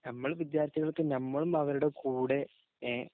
നമ്മള്‍ വിദ്യാര്‍ത്ഥികള്‍ക്ക് നമ്മളും അവരുടെ കൂടെ